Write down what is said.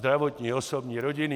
Zdravotní, osobní, rodinný.